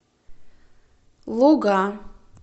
луга